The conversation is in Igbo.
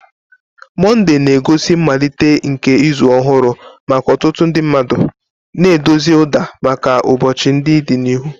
Monday na-egosi mmalite nke izu ọrụ maka ọtụtụ mmadụ, na-edozi ụda maka ụbọchị ndị dị n'ihu.